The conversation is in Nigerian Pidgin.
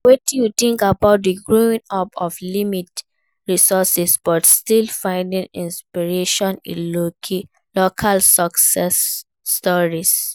Wetin you think about growing up with limited resources but still finding inspiration in local success stories?